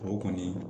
O kɔni